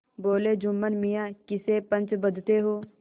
बोलेजुम्मन मियाँ किसे पंच बदते हो